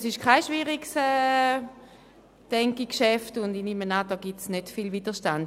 Ich denke, es ist kein schwieriges Geschäft und nehme an, es gebe nicht viel Widerstand.